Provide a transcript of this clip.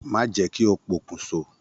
Má jẹ́ kí ó pokùn so.